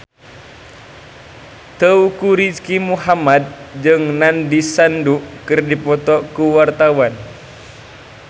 Teuku Rizky Muhammad jeung Nandish Sandhu keur dipoto ku wartawan